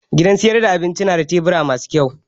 Gidan sayar da abinci na da tebura masu kyau